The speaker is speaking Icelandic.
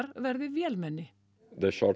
verði vélmenni